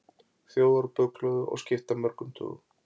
Þjóðarbókhlöðu og skipta mörgum tugum.